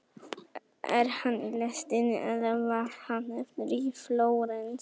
Er hann í lestinni eða varð hann eftir í Flórens?